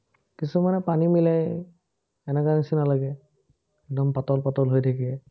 কিছুমানে পানী মিলায়, এনেকা নিচিনা লাগে। একদম পাতল পাতল হৈ থাকে।